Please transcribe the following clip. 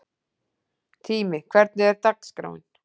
Tími, hvernig er dagskráin?